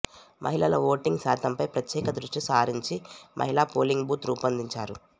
మహిళల ఓటింగ్ శాతంపై ప్రత్యేక దృష్టి సారించి మహిళా పోలింగ్ బూత్ రూపొందించారు